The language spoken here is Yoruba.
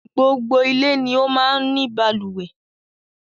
Gbogbo ilé ni ó máa ń ni balùwẹ́